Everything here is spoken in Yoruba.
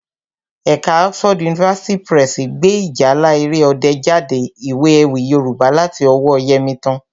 Ẹ̀ka Oxford University Press gbé Ìjálá Èrè Ọdẹ jáde, ìwé ewì Yorùbá láti ọwọ́ọ Yẹmítán